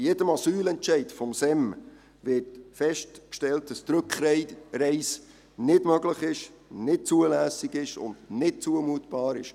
Bei jedem Asylentscheid des SEM wird festgestellt, dass die Rückreise nicht möglich, nicht zulässig und nicht zumutbar ist.